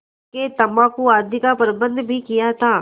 हुक्केतम्बाकू आदि का प्रबन्ध भी किया था